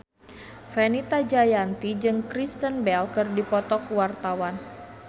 Fenita Jayanti jeung Kristen Bell keur dipoto ku wartawan